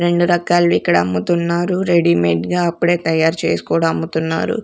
రెండు రకాలు ఇక్కడ అమ్ముతున్నారు రెడీమేడ్ గా అప్పుడే తయారు చేస్ కూడా అమ్ముతున్నారు.